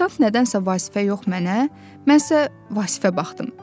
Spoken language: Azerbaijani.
Afisant nədənsə Vasifə yox mənə, mən isə Vasifə baxdım.